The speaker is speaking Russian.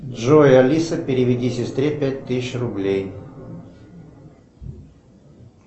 джой алиса переведи сестре пять тысяч рублей